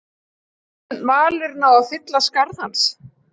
Mun Valur ná að fylla skarð hans?